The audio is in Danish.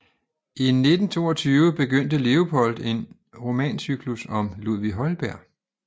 I 1922 begyndte Leopold en romancyklus om Ludvig Holberg